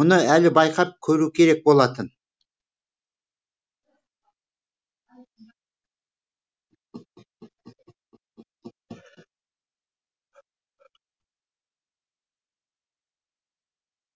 мұны әлі байқап көру керек болатын